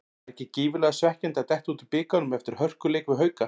Var ekki gífurlega svekkjandi að detta út úr bikarnum eftir hörkuleik við Hauka?